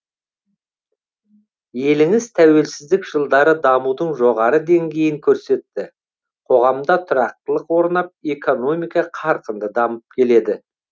еліңіз тәуелсіздік жылдары дамудың жоғары деңгейін көрсетті қоғамда тұрақтылық орнап экономика қарқынды дамып келеді